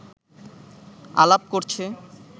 আলাপ করছে